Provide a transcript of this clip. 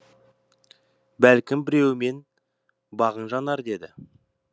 бәлкім біреуімен бағың жанар деді